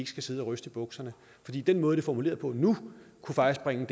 skal sidde og ryste i bukserne fordi den måde det er formuleret på nu faktisk